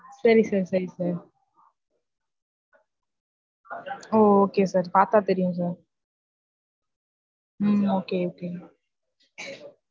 சரி sir சரி sir ஓ okay sir பாத்தா தெரியும் sir. உம் okay, okay.